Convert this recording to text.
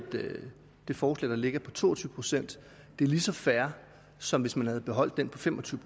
det forslag der ligger på to og tyve procent er lige så fair som hvis man havde beholdt den på fem og tyve